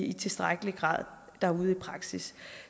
i tilstrækkelig grad derude i praksis